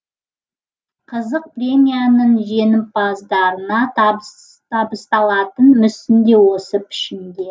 қызық премияның жеңімпаздарына табысталатын мүсін де осы пішінде